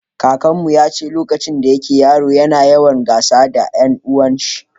kakanmu yace lokacin da yake yaro ya na yawan gasa da dan uwan shi